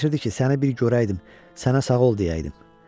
Ürəyimdən keçirdi ki, səni bir görəydim, sənə sağ ol deyəydim.